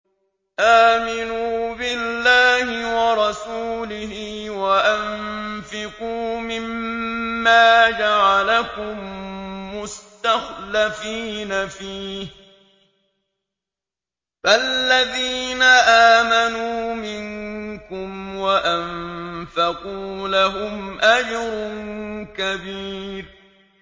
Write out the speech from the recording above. آمِنُوا بِاللَّهِ وَرَسُولِهِ وَأَنفِقُوا مِمَّا جَعَلَكُم مُّسْتَخْلَفِينَ فِيهِ ۖ فَالَّذِينَ آمَنُوا مِنكُمْ وَأَنفَقُوا لَهُمْ أَجْرٌ كَبِيرٌ